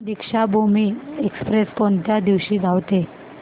Deekshabhoomi express कोणत्या दिवशी धावते